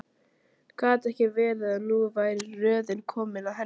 Gat ekki verið að nú væri röðin komin að henni?